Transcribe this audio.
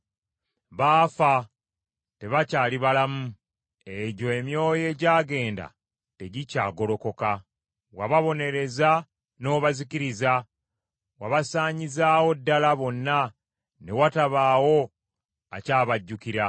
Baafa, tebakyali balamu; egyo emyoyo egyagenda tegikyagolokoka. Wababonereza n’obazikiriza, wabasaanyizaawo ddala bonna, ne watabaawo akyabajjukira.